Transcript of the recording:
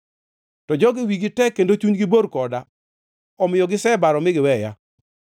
To jogi wigi tek kendo chunygi bor koda omiyo gisebaro mi giweya.